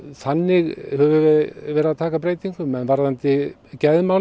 þannig höfum við verið að taka breytingum en varðandi